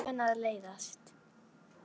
Þau voru ekki vön að leiðast.